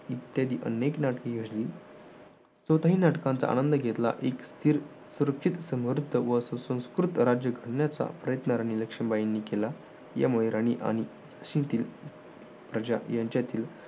इत्यादी अनेक नाटकी योजली. स्वतःही नाटकांचा आनंद घेतला. एक स्थिर, सुरक्षित, समर्थ व सुसंकृत राज्य घडण्याचा प्रयत्न राणी लक्ष्मीबाईंनी केला यामुळे राणी आणि झाशीतील प्रजा यांच्यातील